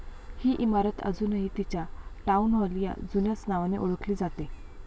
ही इमारत अजूनही तिच्या'टाउन हॉल' या जुन्याच नावाने ओळखली जाते.